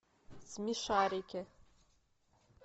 смешарики